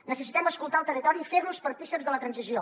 necessitem escoltar el territori i fer los partícips de la transició